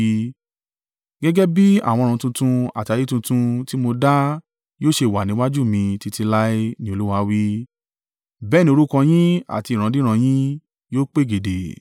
“Gẹ́gẹ́ bí àwọn ọ̀run tuntun àti ayé tuntun tí mo dá yóò ṣe wà níwájú mi títí láé,” ni Olúwa wí, “Bẹ́ẹ̀ ni orúkọ yín àti ìrandíran yín yóò pegedé.